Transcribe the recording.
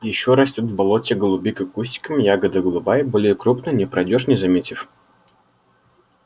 ещё растёт в болоте голубика кустиком ягода голубая более крупная не пройдёшь не заметив